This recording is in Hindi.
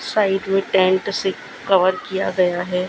साइड में टेंट से कवर किया गया हैं।